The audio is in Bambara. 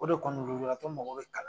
O de kɔni lujuratɔ mago be kalan na